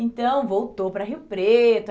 Então, voltou para Rio Preto.